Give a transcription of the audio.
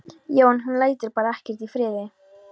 Já, en hún lætur bara ekkert í friði.